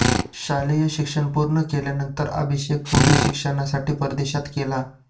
शालेय शिक्षण पुर्ण केल्यानतंर अभिषेक पुढील शिक्षणासाठी परदेशात केला